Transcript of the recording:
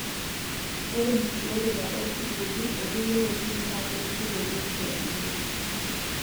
Ore nkiboreta oo sukuuli o kulie wuejitin naa keretisho tebiotisho enkutuk.